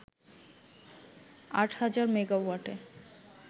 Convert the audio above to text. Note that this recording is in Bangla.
আট হাজার মেগাওয়াটে